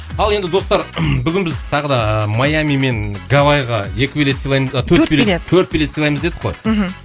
ал енді достар бүгін біз тағы да ыыы майами мен гавайға екі билет сыйлаймыз да төрт билет төрт билет төрт билет сыйлаймыз дедік қой мхм